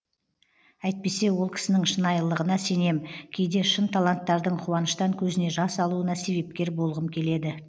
әйтпесе ол кісінің шынайылығына сенем кейде шын таланттардың қуаныштан көзіне жас алуына себепкер болғым келеді